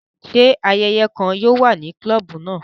Ṣe ayẹyẹ kàn yóò wà ní klobu náà?